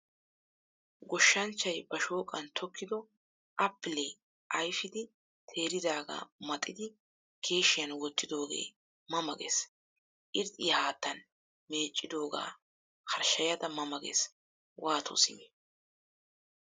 Goshshanchchay ba shoqqan tokkido appilee ayfidi teeridaga maxidi keeshiyan wottidoge ma ma gees. Irxxiyaa haattaan meeccidoga horshshayada ma ma gees. waato simi.